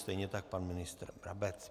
Stejně tak pan ministr Brabec.